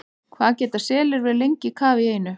Hvað geta selir verið lengi í kafi í einu?